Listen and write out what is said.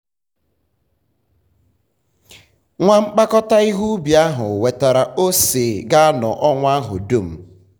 nwa mkpakọta ihe ubi ahụ wetara ose ga-anọ ọnwa ahụ dum.